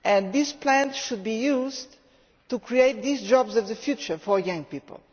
This plan should be used to create these jobs of the future for young people.